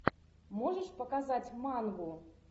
можешь показать мангу